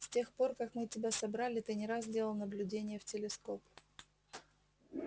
с тех пор как мы тебя собрали ты не раз делал наблюдения в телескоп